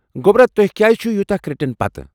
گوٚبرا، تُہۍ کیٚاز چھو یوٗتاہ کریڈٹن پتہٕ ؟